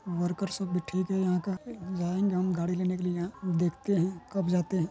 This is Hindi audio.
वर्कर सब भी ठीक है यहाँ का जायेंगे हम गाड़ी लेने के लिए यहाँ देखते है कब जाते हैं।